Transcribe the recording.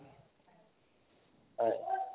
হয়